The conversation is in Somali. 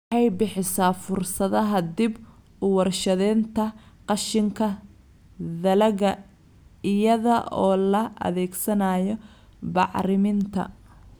Waxay bixisaa fursadaha dib-u-warshadaynta qashinka dalagga iyada oo la adeegsanayo bacriminta.